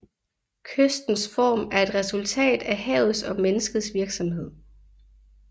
Kystens form er et resultat af havets og menneskets virksomhed